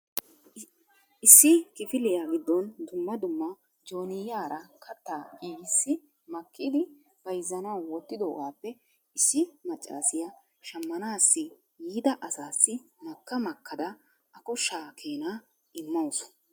Issi kifiliya giddon dumma dumma jooniyaara kattaa giigissi makkidi bayzzanaw wottidoogappe issi maccassiya shammanassi yiida asassi makka makkada a koshsha keena immawusu.